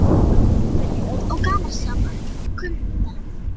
Hann var gervilegur og gamansamur kumpán.